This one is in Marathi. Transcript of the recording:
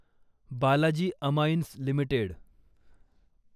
Balaji amines limited